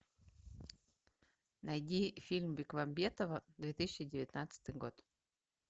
найди фильм бекмамбетова две тысячи девятнадцатый год